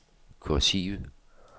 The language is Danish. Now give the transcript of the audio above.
kursiv